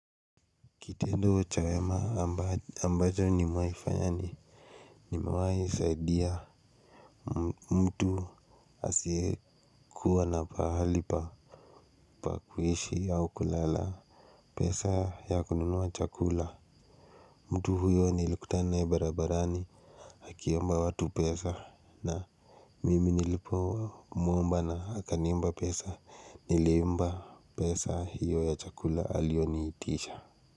Kitendo cha wema ambacho nimewai fanya ni nimewai saidia. Mtu asiyekuwa na pahali pa pa kuishi au kulala. Pesa ya kununua chakula mtu huyo nilikutana naye barabarani akiomba watu pesa na mimi nilipomuomba na akaniomba pesa nilimpa pesa hiyo ya chakula aliyoniitisha.